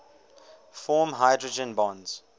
form hydrogen bonds